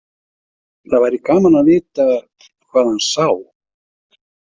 Það væri gaman að vita hvað hann sá.